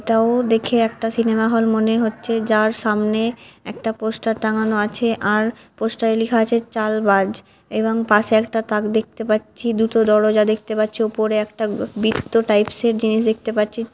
এটাও দেখে একটা সিনেমা -হল মনে হচ্ছে | যার সামনে একটা পোস্টার টাঙ্গানো আছে | আর পোস্ট টাই লেখা আছে চালবাজ | এবং পাশে একটা তাক দেখতে পাচ্ছি দুটো দরজা দেখতে পাচ্ছি | উপরে একটা বৃত্ত টাইপ এর জিনিস দেখতে পাচ্ছি।